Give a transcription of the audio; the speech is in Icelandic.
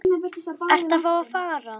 Ertu þá að fara?